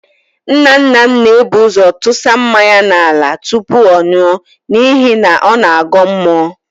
Nnanna m na-ebu ụ́zọ̀ tụsa mmanya n'ala tụpụ ọ nụọ n'ihi na ọ na-agọ mmụọ.